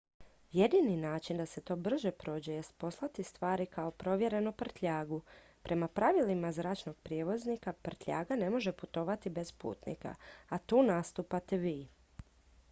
jedini način da se to brže prođe jest poslati stvari kao provjerenu prtljagu prema pravilima zračnog prijevoznika prtljaga ne može putovati bez putnika a tu nastupate vi